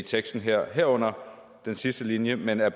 teksten her herunder den sidste linje men er